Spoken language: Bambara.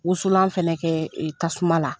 Wusulan fɛnɛ kɛ tasuma la.